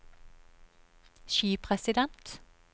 skipresident